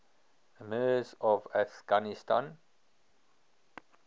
emirs of afghanistan